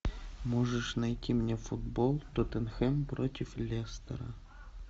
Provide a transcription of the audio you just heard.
можешь найти мне футбол тоттенхэм против лестера